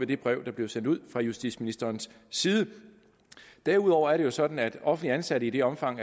det brev der blev sendt ud fra justitsministerens side derudover er det sådan at offentligt ansatte i det omfang